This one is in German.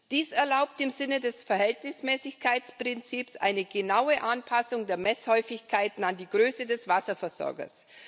Dies erlaubt im Sinne des Verhältnismäßigkeitprinzips eine genaue Anpassung der Messhäufigkeiten an die Größe des Wasserversorgers.